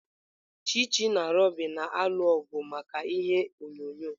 Chichi na Ruby na-alụ ọgụ maka ime ihe onyonyo.